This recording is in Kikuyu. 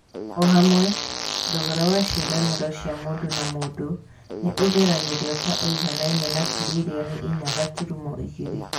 O hamwe, thogora wa ciĩranĩro cia mũndũ na mũndũ nĩ ũgeragĩrio ta ũiganaine na tirilioni inya gaturumo igĩrĩ.